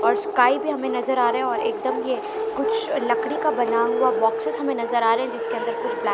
और स्काई भी हमें नजर आ रहा है और एकदम ये कुछ लकड़ी का बना हुआ बॉक्सेस हमे नजर आ रहे है जिसके अंदर कुछ ब्लैक --